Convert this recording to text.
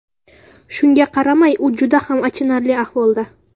Shunga qaramay, u juda ham achinarli ahvolda.